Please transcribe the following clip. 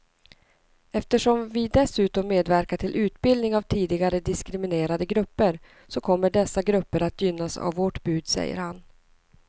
Eftersom vi dessutom medverkar till utbildning av tidigare diskriminerade grupper så kommer dessa grupper att gynnas av vårt bud, säger han.